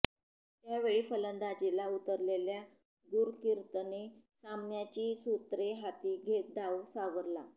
त्यावेळी फलंदाजीला उतरलेल्या गुरकीरतने सामन्याची सूत्रे हाती घेत डाव सावरला